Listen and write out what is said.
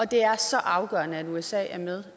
det er så afgørende at usa er med